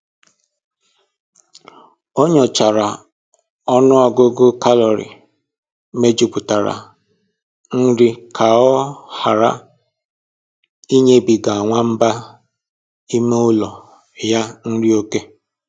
O nyochara ọnụ ọgụgụ kalori mejupụtara nri ka ọ hara ịnyebiga nwamba ime ụlọ ya nri oké